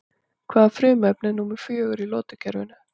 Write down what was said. Hvaða frumefni er númer fjögur í lotukerfinu?